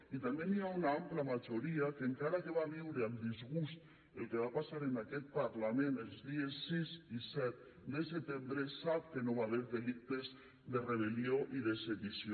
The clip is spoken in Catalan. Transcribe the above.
i també hi ha una ampla majoria que encara que va viure amb disgust el que va passar en aquest parlament els dies sis i set de setembre sap que no hi va haver delictes de rebel·lió i de sedició